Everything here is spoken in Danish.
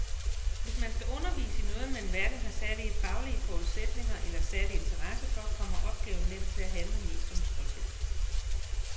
Hvis man skal undervise i noget, man hverken har særlige faglige forudsætninger eller særlig interesse for, kommer opgaven nemt til at handle mest om tryghed.